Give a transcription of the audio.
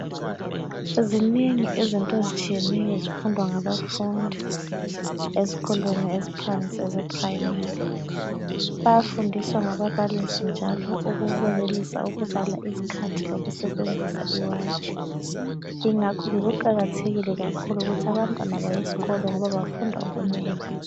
Zinengi zinto ezitshiyeneyo ezifundwa ngabafundi ezikolweni eziphansi ezeprimary. Bayafundiswa ngababalisi njalo ukwenelisa ukubala izikhathi lokusebenzisa iwatch ingakho ke kuqakathekile kakhulu ukuthi abantwana bayesikolo ngoba bafunda okunengi.